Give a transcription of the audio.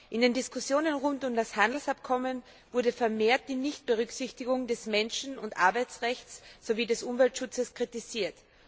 In den Diskussionen rund um das Handelsabkommen wurde mehrfach die Nichtberücksichtigung des Menschen und Arbeitsrechts sowie des Umweltschutzes kritisiert.